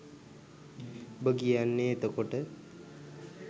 උඹ කියන්නෙ එතකොට